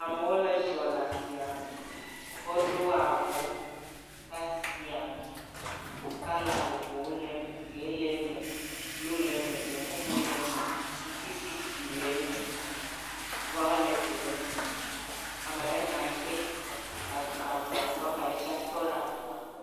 Amewo le zɔ le asiame. Woɖo avɔ ɖe asiame. Kɔla vovovowo le eme, ʋi le eme, blu le eme, gbemumu le eme, ŋutisi ɖiɖi le eme, violet le eme. Ame aɖe nɔ anyi ɖe si avɔa gbɔ, ame aɖe tsɛ tɔ ɖe avɔa gbɔ.